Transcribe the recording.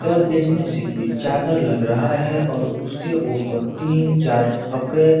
यह दिखने से कोई चादर लग रहा है और उसके ऊपर तीन चार कपड़े --